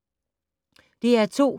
DR2